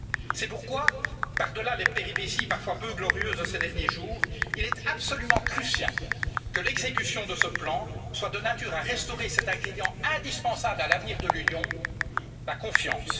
C'est pourquoi, par delà les péripéties peu glorieuses de ces derniers jours, il est absolument crucial que l'exécution de ce plan soit de nature à restaurer cet ingrédient indispensable à l'avenir de l'Union la confiance.